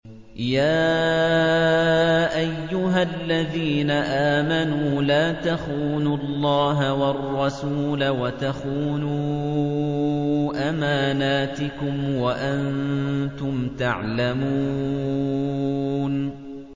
يَا أَيُّهَا الَّذِينَ آمَنُوا لَا تَخُونُوا اللَّهَ وَالرَّسُولَ وَتَخُونُوا أَمَانَاتِكُمْ وَأَنتُمْ تَعْلَمُونَ